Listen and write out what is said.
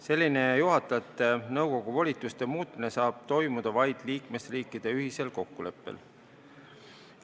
Selline juhatajate nõukogu volituste muutmine saab toimuda vaid liikmesriikide ühisel kokkuleppel.